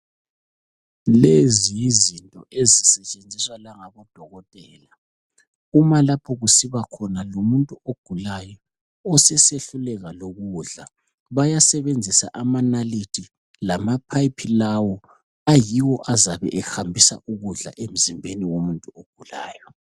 Lezi yizinto ezisetshenziswa langabodokotela. Uma lapho kusiba khona lomuntu ogulayo osesehluleka lokudla, bayasebenzisa amanalithi lamapipe lawo, ayiwo azabe ehambisa ukudla emzimbeni womuntu ogulayo.